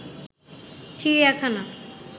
চিড়িয়াখানা